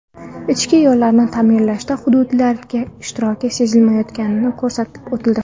Ichki yo‘llarni ta’mirlashda hududlarning ishtiroki sezilmayotgani ko‘rsatib o‘tildi.